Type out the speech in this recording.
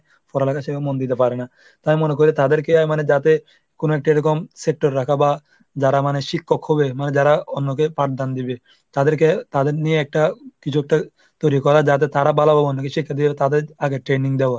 পড়ালেখা সেভাবে মন দিতে পারে না। তাই মনে করি তাদেরকে মানে যাতে একটা এরকম sector রাখা বা যারা মানে শিক্ষক হবে মানে যারা অন্যকে পাঠদান দিবে তাদেরকে তাদের নিয়ে একটা কিছু একটা তৈরী করা যাতে তারা ভালোভাবে শিক্ষা দিয়ে তাদের আগে training দেওয়া